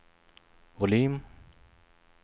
volym